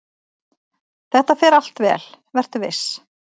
"""Þetta fer allt vel, vertu viss!"""